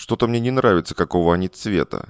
что-то мне не нравится какого они цвета